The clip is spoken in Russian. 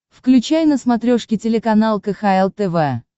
включай на смотрешке телеканал кхл тв